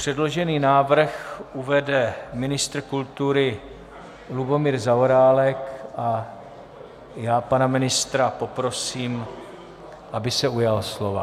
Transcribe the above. Předložený návrh uvede ministr kultury Lubomír Zaorálek a já pana ministra poprosím, aby se ujal slova.